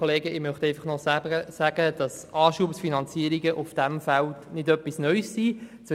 Ich möchte einfach noch sagen, dass Anschubfinanzierungen in diesem Feld nichts Neues sind.